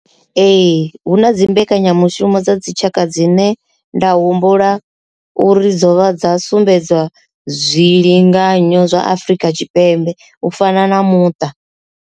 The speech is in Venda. Ee, hu na dzi mbekanyamushumo dza dzitshaka dzine nda humbula uri dzo vha dza sumbedzwa zwilinganyo zwa Afrika Tshipembe u fana na muṱa.